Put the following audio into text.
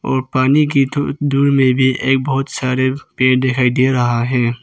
और पानी की तो दूर में भी एक बहुत सारे पेड़ दिखाई दे रहा है।